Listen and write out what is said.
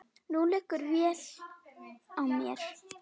Nú liggur vél á mér